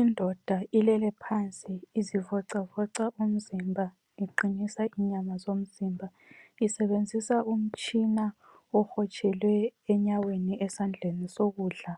Indoda ilele phansi izivocavoca umzimba iqinisa inyama zomzimba. Isebenzisa umtshina obotshelwe enyaweni, esandleni sokudla.